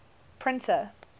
printer